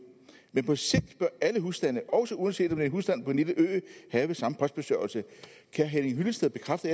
men på sigt bør alle husstande også uanset om det er en husstand på en lille ø have samme postbesørgelse kan herre henning hyllested bekræfte